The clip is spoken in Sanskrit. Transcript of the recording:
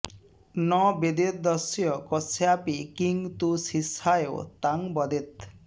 न वदेद्यस्य कस्यापि किं तु शिष्याय तां वदेत्